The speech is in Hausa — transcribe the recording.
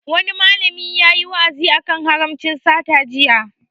Wani malami yayi wa'azi a kan haramcin sata jiya